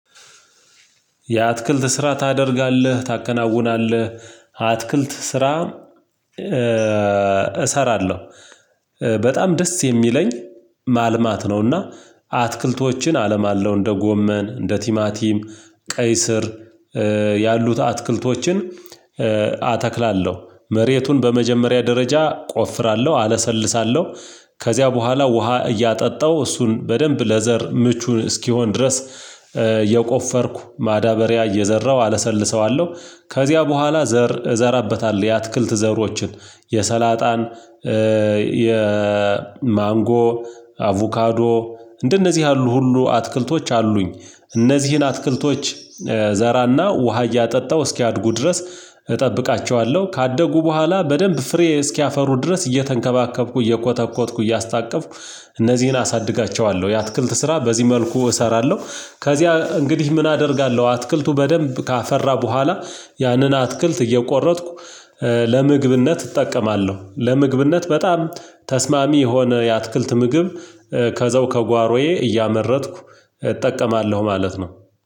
የአትክልት ስራ ታደርጋለህ፤ ታከናውናለህ አትክልት ስራ እሰራ እሰራለሁ፤ በጣም ደስ የሚለኝ ማልማት ነውና አትክልቶችን አለማለሁ። እንደ ጎመ፣ እንደ ቲማቲም፣ ቀይ ስር ያሉት አትክልቶችን አተክላለሁ፤ መሬቱን በመጀመሪያ ደረጃ ቆፍራለሁ፤ አለሰልሳለሁ ከዚያ በኋላ ውሃ እያጠጣው እሱን በደንብ ለዘር ምቹን እስኪሆን ድረስ እየቆፈርኩ ማዳበሪያ እየዘራሁ አለሰልሰዋለሁ ከዚያ በኋላ ዘር እዘራበታለሁ። የአትክልት ዘሮችን የማንጎ አቮካዶ እንደነዚህ ያሉ ሁሉ አትክልቶች አሉኝ፤ እነዚህን አትክልቶች እዘራና ውሃ እያጠጣሁ እስኪያድጉ ድረስ እጠብቃቸዋለሁ፤ ካደጉ በኋላ በደንብ ፍሬ እስኪያፈሩ ድረስ እየተንከባከብኩ፤ እየኮተኮትኩ፤ እያስታቀፍኩ እነዚህን አሳድጋቸዋለሁ፤ የአትክልት ስራ በዚህ መልኩ እሰራለሁ ከዚያ እንግዲህ ምን አደርጋለሁ አትክልቱ በደንብ ካፈራ በኋላ ያንን አትክልት እየቆረጥኩ ለምግብነት እጠቀማለሁ፤ ለምግብነት በጣም ተስማሚ የሆነ የአትክልት ምግብ ከዘው ከጓሮዬ እያመረትኩ እጠቀማለሁ ማለት ነው።